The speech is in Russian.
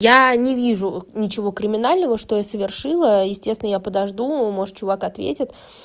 я не вижу ничего криминального что я совершила естественно я подожду может чувак ответить